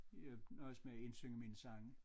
Jeg nøjes med at indsynge mine sange